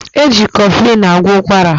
Eji kọflịn agwọ ụkwara